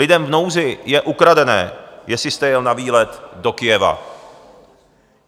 Lidem v nouzi je ukradené, jestli jste jel na výlet do Kyjeva.